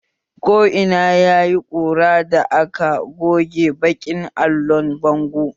Ko ina yayi ƙura da aka goge baƙin allon bango